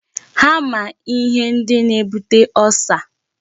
Ha ma ihe ndi na-ebute ulcer.